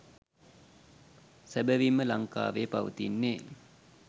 සැබවින්ම ලංකාවේ පවතින්නේ